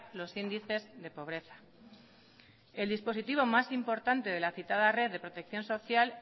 los índices de pobreza el dispositivo más importante de la citada red de protección social